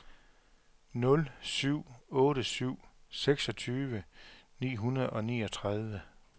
nul syv otte syv seksogtyve ni hundrede og niogtredive